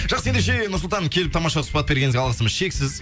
жақсы ендеше нұрсұлтан келіп тамаша сұхбат бергеніңізге алғысымыз шексіз